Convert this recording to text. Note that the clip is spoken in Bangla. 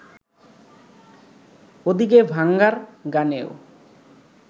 ওদিকে ভাঙ্গার গানেও